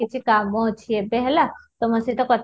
କିଛି କାମ ଅଛି ଏବେ ହେଲା ତମୋ ସହିତ କଥା